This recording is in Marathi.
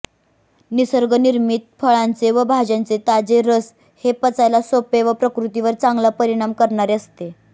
निसर्गनिर्मित फळांचे व भाज्यांचे ताजे रस हे पचायला सोपे व प्रकृतीवर चांगला परिणाम करणारे असते